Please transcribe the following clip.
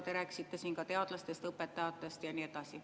Te rääkisite siin ka teadlastest, õpetajatest ja nii edasi.